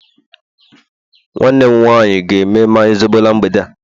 nwanne m nwanyi ga eme mmanya zobo na mgbede a